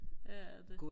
ja det